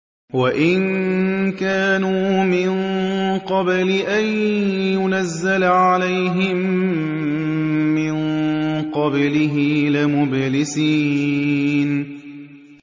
وَإِن كَانُوا مِن قَبْلِ أَن يُنَزَّلَ عَلَيْهِم مِّن قَبْلِهِ لَمُبْلِسِينَ